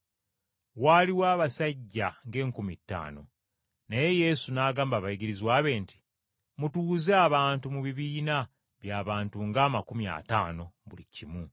Waaliwo abasajja ng’enkumi ttaano. Naye Yesu n’agamba abayigirizwa be nti, “Mutuuze abantu mu bibiina by’abantu ng’amakumi ataano buli kimu.”